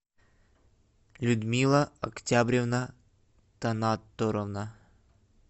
людмила октябревна танатарова